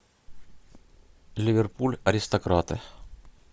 ливерпуль аристократы